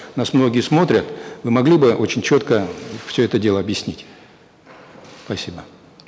нас многие смотрят вы могли бы очень четко все это дело объяснить спасибо